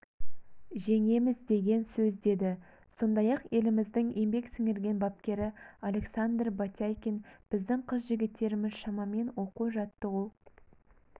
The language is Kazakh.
жеңеміз деген сөз деді сондай-ақ еліміздің еңбек сіңірген бапкері александр батяйкин біздің қыз-жігіттеріміз шамамен оқу-жаттығу